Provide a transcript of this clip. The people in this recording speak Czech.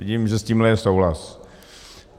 Vidím, že s tímhle je souhlas.